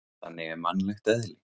Þannig er mannlegt eðli.